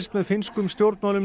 með finnskum stjórnmálum